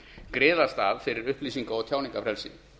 griðastað fyrir upplýsinga og tjáningarfrelsi